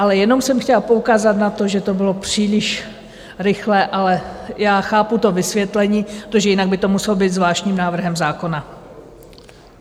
Ale jenom jsem chtěla poukázat na to, že to bylo příliš rychlé, ale já chápu to vysvětlení, protože jinak by to muselo být zvláštním návrhem zákona.